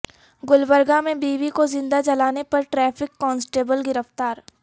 گلبرگہ میں بیوی کو زندہ جلانے پر ٹریفک کانسٹبل گرفتار